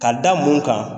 Ka da mun kan